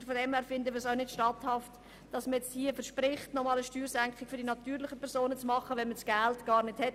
In diesem Sinne ist es auch nicht statthaft, eine Steuersenkung für die natürlichen Personen zu versprechen, wenn man das Geld nicht hat.